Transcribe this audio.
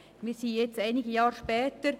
Jetzt sind wieder einige Jahre vergangen.